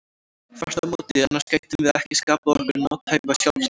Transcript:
Þvert á móti, annars gætum við ekki skapað okkur nothæfa sjálfsmynd.